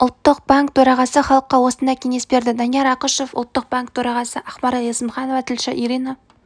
ұлттық банк төрағасы халыққа осындай кеңес берді данияр ақышев ұлттық банкі төрағасы ақмарал есімханова тілші ирина